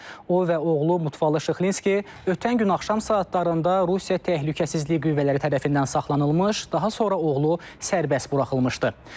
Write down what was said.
O və oğlu Mutfalı Şıxlinski ötən gün axşam saatlarında Rusiya təhlükəsizlik qüvvələri tərəfindən saxlanılmış, daha sonra oğlu sərbəst buraxılmışdı.